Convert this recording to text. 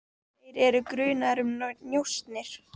Þeir eru grunaðir um njósnir.